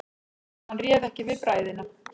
Hann réð ekki við bræðina.